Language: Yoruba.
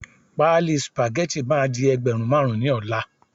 pálí spaghetti ma di ẹgbẹrun marun ni ola